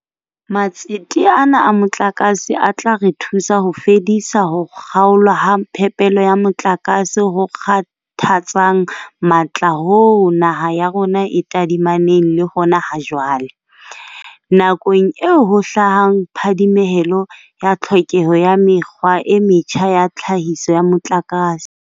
Matsete ana a motlakase a tla re thusa ho fedisa ho kga olwa ha phepelo ya motlakase ho kgathatsang matla hoo naha ya rona e tadimaneng le hona ha jwale, nakong eo ho hlahang phadimehelo ya tlhokeho ya mekgwa e metjha ya tlhahiso ya motlakase.